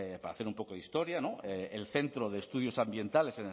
para hacer un poco de historia el centro de estudios ambientales